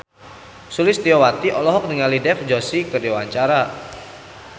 Sulistyowati olohok ningali Dev Joshi keur diwawancara